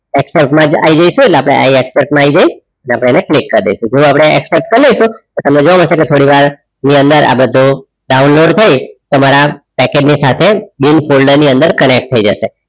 આય જયસુ એટલે આઇ expert થોડું આપડે expert સમજવા માં થોડી વાર ની અંદર આ બધુ ડાઉનલોડ થઈ તમારા પેકેટ ની સાથે બિલ ફોલ્ડર ની અંદર કનેક્ટ થઈ જસે